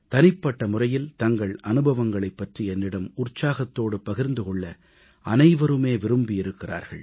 தனிப்பட்ட முறையில் தங்கள் அனுபவங்களைப் பற்றி என்னிடம் உற்சாகத்தோடு பகிர்ந்து கொள்ள அனைவருமே விரும்பியிருக்கிறார்கள்